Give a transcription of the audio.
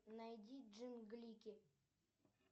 найди джинглики